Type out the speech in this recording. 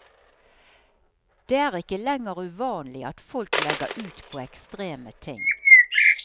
Det er ikke lenger uvanlig at folk legger ut på ekstreme ting.